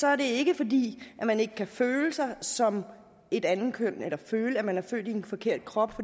er det ikke fordi man ikke kan føle sig som et andet køn eller føle at man er født i en forkert krop